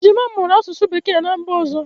Ejima m mụrụ asụsụ Bekee ná mba ọzọ.